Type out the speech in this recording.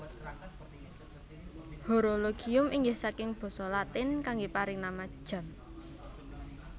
Horologium inggih saking basa Latin kanggé paring nama jam